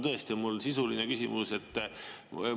Tõesti, mul on sisuline küsimus.